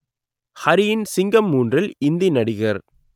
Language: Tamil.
ஹரியின் சிங்கம் மூன்றில் இந்தி நடிகர்